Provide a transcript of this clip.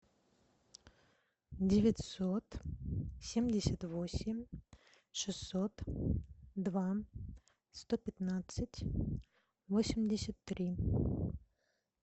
девятьсот семьдесят восемь шестьсот два сто пятнадцать восемьдесят три